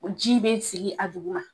Ji bɛ sigi a duguma